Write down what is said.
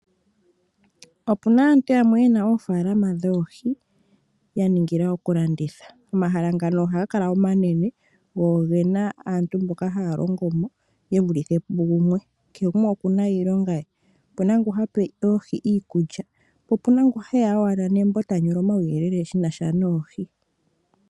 Opuna aantu yamwe ye na oofaalama dhoohi ya ningila okulanditha. Omahala ngaka ohaga kala omanena go ogena aantu mboka haya longo mo, ye vulithe pugumwe, kehe gumwe oku na mo iilonga ye. Opuna ngoka ha pe oohi iikulya, po opu na ngu he ya owala nembo, ta nyola omauyelele shi na sha noohi.